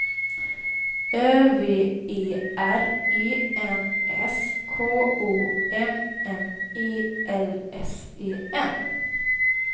Ö V E R E N S K O M M E L S E N